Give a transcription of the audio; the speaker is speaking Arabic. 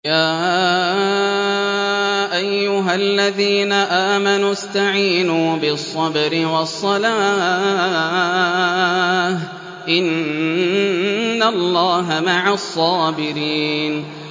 يَا أَيُّهَا الَّذِينَ آمَنُوا اسْتَعِينُوا بِالصَّبْرِ وَالصَّلَاةِ ۚ إِنَّ اللَّهَ مَعَ الصَّابِرِينَ